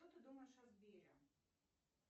что ты думаешь о сбере